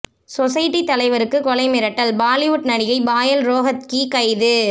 society தலைவருக்கு கொலை மிரட்டல் பாலிவுட் நடிகை பாயல் ரோஹத்கி கைது